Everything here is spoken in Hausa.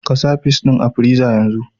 Ka sa fis ɗin a friza yanzu!